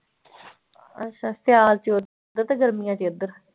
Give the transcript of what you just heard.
ਅੱਛਾ ਸਿਆਲ ਚ ਉੱਧਰ ਤੇ ਗਰਮੀਆਂ ਚ ਇੱਧਰ।